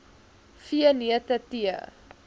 v neute tee